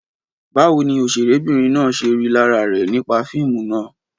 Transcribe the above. Báwo ni òṣèrébìnrin náà ṣe rí lára rẹ̀ nípa fíìmù náà?